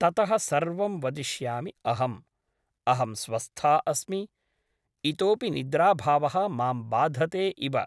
ततः सर्वं वदिष्यामि अहम् । अहं स्वस्था अस्मि । इतोऽपि निद्राभावः मां बाधते इव ।